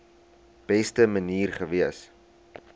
beste manier gewees